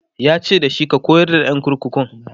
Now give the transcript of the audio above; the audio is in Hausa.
yace dashi"ka koyar da ƴan kurkukun!"